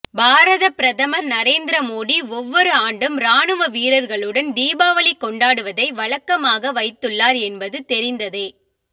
பாரத பிரதமர் நரேந்திர மோடி ஒவ்வொரு ஆண்டும் ராணுவ வீரர்களுடன் தீபாவளி கொண்டாடுவதை வழக்கமாக வைத்துள்ளார் என்பது தெரிந்ததே